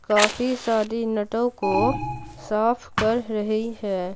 काफी सादी नटों को साफ कर रही है।